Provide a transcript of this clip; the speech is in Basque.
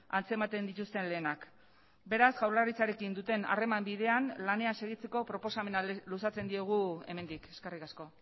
antzematen dituzten lehenak beraz jaurlaritzarekin duten harreman bidean lanean segitzeko proposamena luzatzen diegu hemendik eskerrik asko